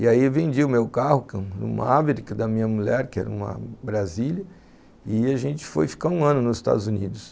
E aí vendi o meu carro, uma Averick da minha mulher, que era uma Brasília, e a gente foi ficar um ano nos Estados Unidos.